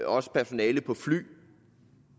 også personalet på fly